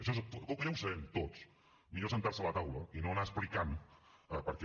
això com que ja ho sabem tots millor asseure’s a la taula i no anar explicant el què